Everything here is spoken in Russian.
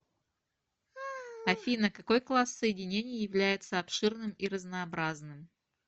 афина какой класс соединений является обширным и разнообразным